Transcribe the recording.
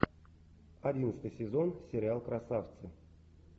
одиннадцатый сезон сериал красавцы